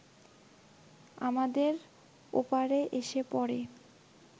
আমাদের ওপরে এসে পড়ে